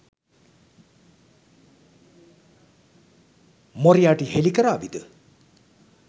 Moriarty හෙළි කරාවිද?